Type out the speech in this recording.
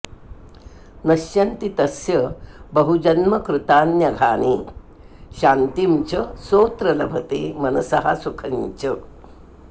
नश्यन्ति तस्य बहुजन्मकृतान्यघानि शान्तिं च सोऽत्र लभते मनसः सुखं च